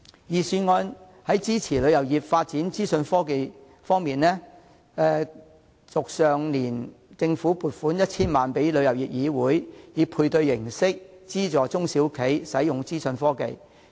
在支持旅遊業發展資訊科技方面，政府於去年撥款 1,000 萬元予旅議會，以配對形式資助中小型旅行社使用資訊科技。